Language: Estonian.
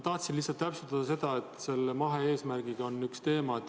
Tahtsin lihtsalt täpsustada seda, et selle mahe-eesmärgiga on üks teema.